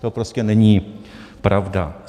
To prostě není pravda.